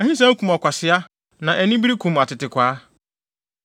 Ahisɛm kum ɔkwasea, na anibere kum atetekwaa.